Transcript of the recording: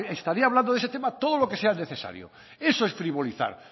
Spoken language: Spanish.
estaría hablando de ese tema todo lo que sea necesario eso es frivolizar